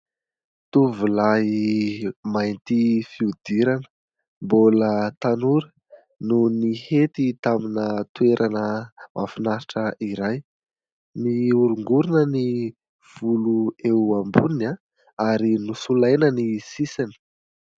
Tovolahy mainty fihodirana, mbola tanora, no nihety tamin'ny toerana mahafinaritra iray. Mihorongorona ny volo eo amboniny ary nosolaina ny sisiny.